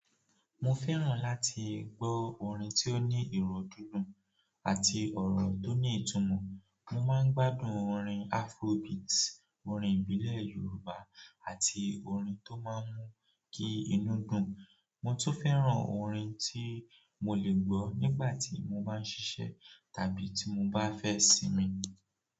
Mo fẹ́ràn láti gbọ́ orin tó ní ìró dúndún àti ọ̀rọ̀ tó ní ìtumọ̀. Mo máa ń gbádùn orin Afrobeat, orin ìbílẹ̀ Yorùbá, àti orin tó máa ń mú kí inú dùn. Mo tún fẹ́ràn orin tí mo lè gbọ́ nígbà tí mo bá ń ṣiṣẹ́ tàbí tí mo bá fẹ́ sinmi.